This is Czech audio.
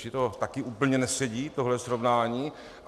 Čili tohle taky úplně nesedí, tohle srovnání.